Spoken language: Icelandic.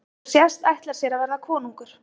Eins og sést og ætlar sér að verða konungur.